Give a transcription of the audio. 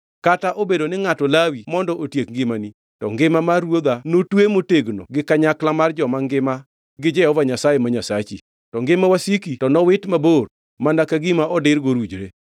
Kata obedo ni ngʼato lawi mondo otiek ngimani, to ngima mar ruodha notwe motegno gi kanyakla mar joma ngima gi Jehova Nyasaye ma Nyasachi. To ngima wasiki to nowit mabor mana ka gima odir gorujre.